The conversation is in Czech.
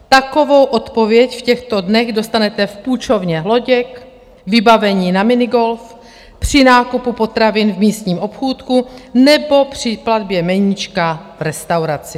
Takovou odpověď v těchto dnech dostanete v půjčovně loděk, vybavení na minigolf, při nákupu potravin v místním obchůdku nebo při platbě meníčka v restauraci.